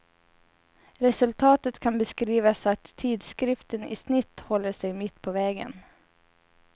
Resultatet kan beskrivas så att tidskriften i snitt håller sig mitt på vägen.